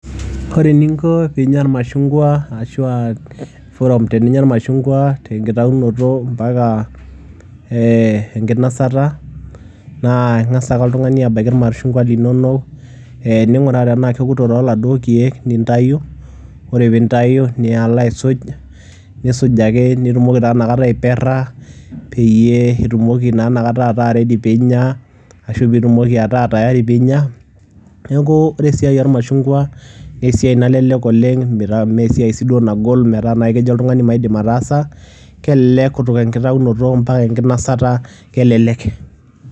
Ore eninko piinya iemashungwa arashu aa CS[forum]CS teniinya iemashungwa tenkitayunoto mpaka enkinasata naa Inga'sa ake oltung'ani abaiki iemashungwa linono ning'uraa tenaa kewoto too laduo keek lentewuo niya alo aisuj nitumoki taa inakata aiperra peyiee itumoki naa inakata ataa CS[ready]CS piinya neeku ore esiai oo iemashungwa naa esiai nalelek oleng mee siai sii duo nagol metaa kejo naaji oltung'ani maidim ataasa CS[kutoka]CS tenkitayunoto mpaka enkinasata kelelek.